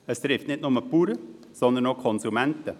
Es trifft nicht nur die Bauern, sondern auch die Konsumenten.